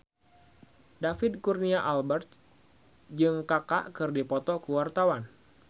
David Kurnia Albert jeung Kaka keur dipoto ku wartawan